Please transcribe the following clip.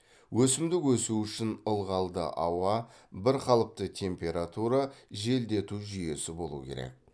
өсімдік өсуі үшін ылғалды ауа бірқалыпты температура желдету жүйесі болуы керек